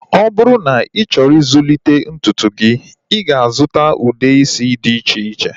Ọ bụrụ na ị chọrọ ịzụlite ntutu gị, ị ga-azuta ude isi dị iche iche